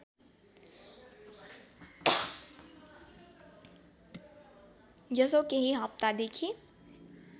यसो केही हप्तादेखि